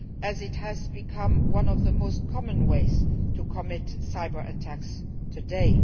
as it has become one of the most common ways to commit cyber attacks today.